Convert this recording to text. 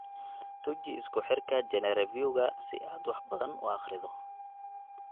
Tuji isku xirka GeneReviewka si aad wax badan u akhrido.